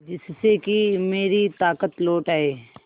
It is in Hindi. जिससे कि मेरी ताकत लौट आये